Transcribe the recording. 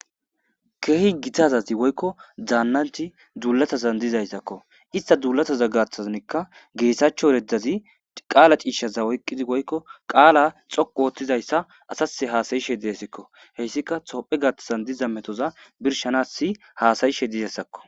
Keehi gita asati woykko daannanti duulatazan dizayssakko. Ista duulataza gaaththazanekka geetaachcho ereddazi qaala ciishshaza oyqqidi woykko qaala xoqu ooththizayssa asase haasayishe de7esikko. Heyssika tophe gaathtazan diza metoza birshanasi haasayishe dizassakko.